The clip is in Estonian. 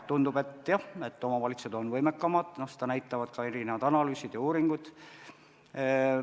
Tundub jah, et omavalitsused on võimekamad, seda näitavad ka analüüsid ja uuringud.